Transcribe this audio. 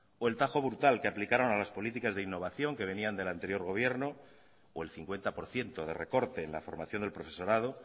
o el tajo brutal que aplicaron a las políticas de innovación que venían del anterior gobierno o el cincuenta por ciento de recorte en la formación del profesorado